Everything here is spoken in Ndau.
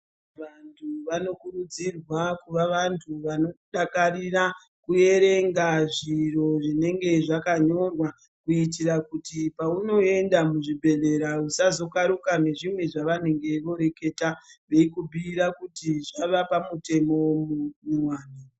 Vantu vanokurudzirwa kuva vantu vanodakarira kuerenga zviro zvinenge zvakanyorwa kuitira kuti pamunoenda muzvibhehlera usazokaruka nezvimwe zvavanenge voreketa veikubhuira kuti zvave pamutemo unodiwa.